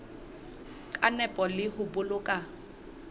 ka nepo le ho boloka